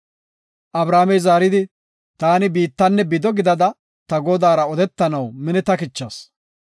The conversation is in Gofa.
Abrahaamey zaaridi, “Taani biittanne bido gidada ta Godaara odetanaw minetakichas;